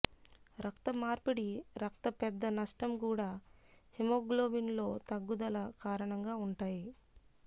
రక్త మార్పిడి రక్త పెద్ద నష్టం కూడా హిమోగ్లోబిన్ లో తగ్గుదల కారణంగా ఉంటాయి